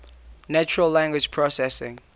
natural language processing